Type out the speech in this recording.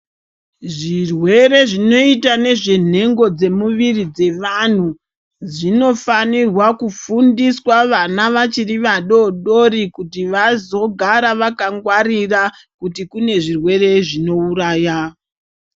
Zvirwere zvinoitwa nezve nengo dzemuviri zvevanhu zvinofanirwa kufundiswa vana vachiri vadodori kuti vazogare vakagwarira kuti kune zvirwere zvinouraya.